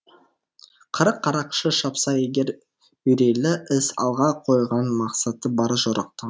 қырық қарақшы шапса егер үрейлі іс алға қойған мақсаты бар жорықтың